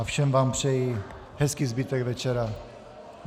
A všem vám přeji hezký zbytek večera.